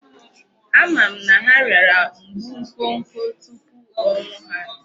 Ama m na ha rịara mgbu nkwokwo tupu ọnwụ ha.